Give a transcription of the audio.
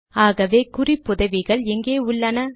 ஆகவே குறிப்புதவிகள் எங்கே உள்ளன